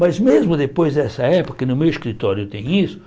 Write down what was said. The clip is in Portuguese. Mas mesmo depois dessa época, que no meu escritório tem isso,